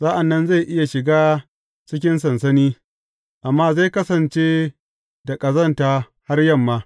Sa’an nan zai iya shiga cikin sansani, amma zai kasance da ƙazanta har yamma.